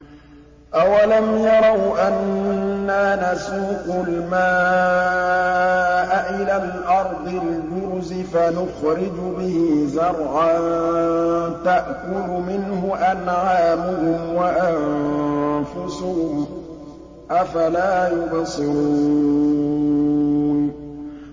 أَوَلَمْ يَرَوْا أَنَّا نَسُوقُ الْمَاءَ إِلَى الْأَرْضِ الْجُرُزِ فَنُخْرِجُ بِهِ زَرْعًا تَأْكُلُ مِنْهُ أَنْعَامُهُمْ وَأَنفُسُهُمْ ۖ أَفَلَا يُبْصِرُونَ